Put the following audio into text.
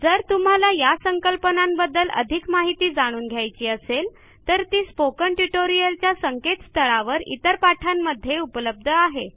जर तुम्हाला या संकल्पनांबद्दल अधिक माहिती जाणून घ्यायची असेल तर ती स्पोकन ट्युटोरियलच्या संकेतस्थळावर इतर पाठांमध्ये उपलब्ध आहे